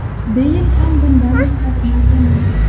Beyl ham bundan mustasno emas.